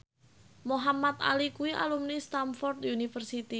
Muhamad Ali kuwi alumni Stamford University